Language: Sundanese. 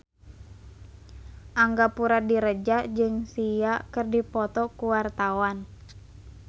Angga Puradiredja jeung Sia keur dipoto ku wartawan